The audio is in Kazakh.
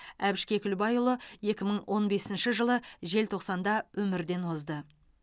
әбіш кекілбайұлы екі мың он бесінші жылы желтоқсанда өмірден озды